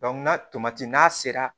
n'a tomati n'a sera